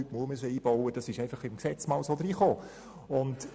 Heute ist man dazu verpflichtet, denn das wurde einmal ins Gesetz aufgenommen.